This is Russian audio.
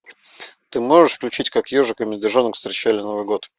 ты можешь включить как ежик и медвежонок встречали новый год